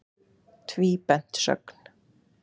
Tvíbent sögn.